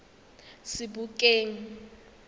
sebokeng